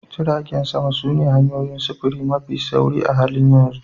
Jiragen sama sune hanyoyin sufuri mafi sauri a halin yanzu